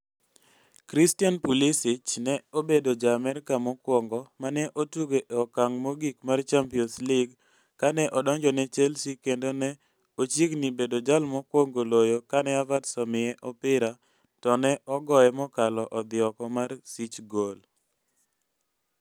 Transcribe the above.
Christian Pulisic ne obedo Ja-Amerka mokwongo ma ne otugo e okng' mogik mar Champions League kane odonjo ne Chelsea kendo ne ochiegni bedo jal mokwongo loyo kane Havertz omiye opira to ne ogoye mokalo odhi oko mar sich gol.